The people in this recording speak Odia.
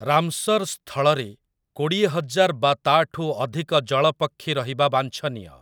ରାମ୍‌ସର୍‌ ସ୍ଥଳରେ କୋଡ଼ିଏହଜାର ବା ତା'ଠୁ ଅଧିକ ଜଳପକ୍ଷୀ ରହିବା ବାଞ୍ଛନୀୟ ।